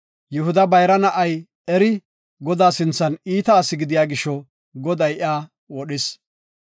Yihuda bayra na7ay, Eri, Godaa sinthan iita asi gidiya gisho, Goday iya wodhis.